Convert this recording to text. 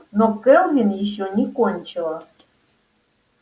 но кэлвин ещё не кончила